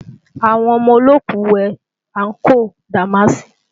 Àwọn ọmọ olóòkú wé àǹkóò dàmáàsì